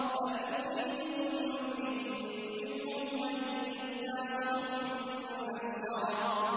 بَلْ يُرِيدُ كُلُّ امْرِئٍ مِّنْهُمْ أَن يُؤْتَىٰ صُحُفًا مُّنَشَّرَةً